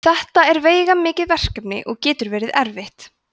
þetta er veigamikið verkefni og getur verið erfitt